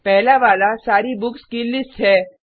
पहला वाला सारी बुक्स की लिस्ट है